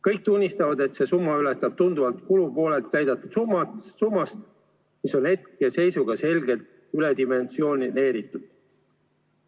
Kõik tunnistavad, et see summa ületab tunduvalt kulupoolel näidatud summat, mis on hetkeseisuga selgelt üledimensioneeritud.